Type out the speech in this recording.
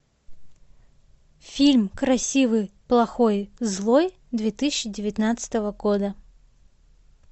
фильм красивый плохой злой две тысячи девятнадцатого года